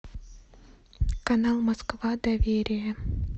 канал москва доверие